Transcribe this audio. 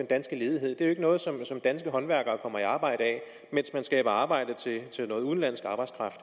danske ledighed det er ikke noget som danske håndværkere kommer i arbejde af men man skaber arbejde til noget udenlandsk arbejdskraft